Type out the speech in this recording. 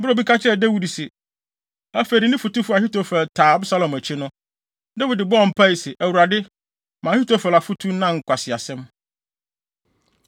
Bere a obi ka kyerɛɛ Dawid se, afei de ne fotufo Ahitofel taa Absalom akyi no, Dawid bɔɔ mpae se, “ Awurade, ma Ahitofel afotu nnan nkwaseasɛm.”